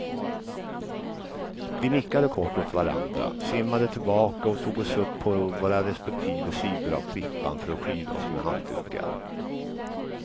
Vi nickade kort åt varandra, simmade tillbaka och tog oss upp på våra respektive sidor av klippan för att skyla oss med handdukar.